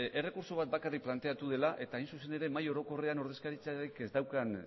errekurtso bat bakarrik planteatu dela eta hain zuzen ere mahai orokorrean ordezkaritzarik ez daukan